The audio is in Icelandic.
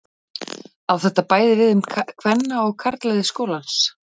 Á þetta bæði við um kvenna- og karlalið skólans.